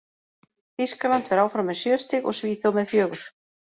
Þýskaland fer áfram með sjö stig og Svíþjóð með fjögur.